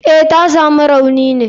Eh, tasamu rauni ne.